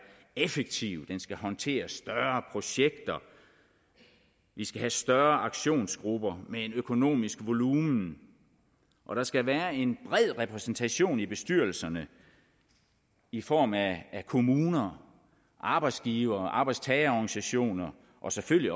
effektiv den skal håndtere større projekter vi skal have større aktionsgrupper med en økonomisk volumen og der skal være en bred repræsentation i bestyrelserne i form af kommuner arbejdsgivere arbejdstagerorganisationer og selvfølgelig